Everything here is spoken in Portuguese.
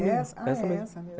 É essa? ah, é essa mesmo.